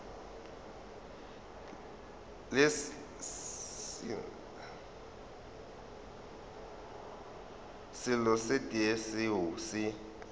selo se tee seo se